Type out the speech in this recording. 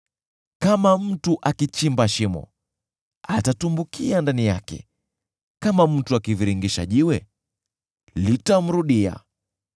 Kama mtu akichimba shimo, atatumbukia ndani yake, kama mtu akivingirisha jiwe, litamrudia.